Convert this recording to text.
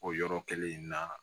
O yɔrɔ kelen in na